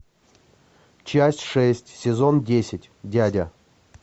часть шесть сезон десять дядя